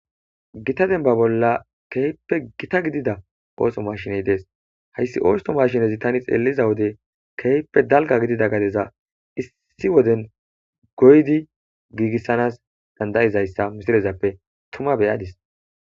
gita denba bolla keehppe gita gidida ooso mashiney dees hayssi oosto mashinezi tani xeeliza wode keehppe dalga gidida gadeza issi woden goydi giigissanas dandayizayssa misirezappe tuma beyadis.